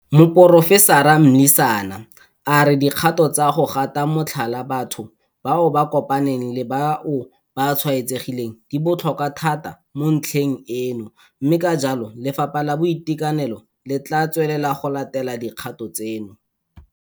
Moporofesara Mlisana a re dikgato tsa go gata motlhala batho bao ba kopaneng le bao ba tshwaetsegileng di botlhokwa thata mo ntlheng eno mme ka jalo Lefapha la Boitekanelo le tla tswelela go latela dikgato tseno.